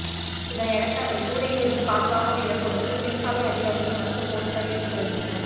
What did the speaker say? இதனையடுத்து அவரைகூரையில் இருந்து பாதுகாப்பாக இறக்குவதற்கு சிறைச்சாலை அதிகாரிகள் மற்றும் பொலிசார் ஈடுபட்டுவருகின்றனர்